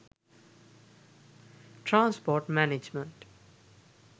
transport management